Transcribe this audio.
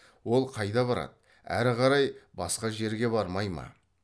ол қайда барады әрі қарай басқа жерге бармай ма